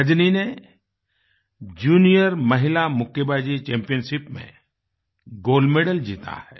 रजनी ने जूनियर महिला मुक्केबाजी चैम्पियनशिप मेंगोल्ड मेडल जीता है